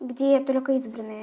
где только избранные